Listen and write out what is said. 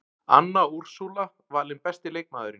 Anna Úrsúla valin besti leikmaðurinn